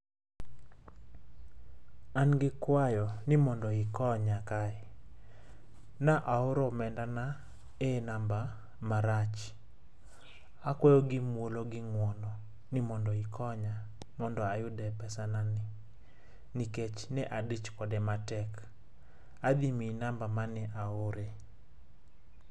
an gi kwayo mondo ikonya kae, ne aoro omenda na e number marach. akwayo gi muolo gi nguono ni mondo ikonya mondo ayude pesa na ni nikech ne adich kode matek. adhi mii number mane aoree